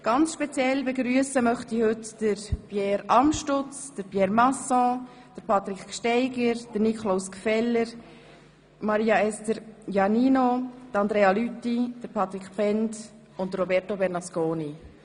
Speziell begrüssen möchte ich heute die Grossräte und Grossrätinnen Pierre Amstutz, Pierre Masson, Patrick Gsteiger, Niklaus Gfeller, Maria Esther Iannino, Andrea Lüthi, Patric Bhend und Roberto Bernasconi.